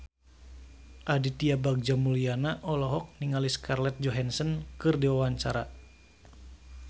Aditya Bagja Mulyana olohok ningali Scarlett Johansson keur diwawancara